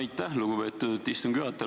Aitäh, lugupeetud istungi juhataja!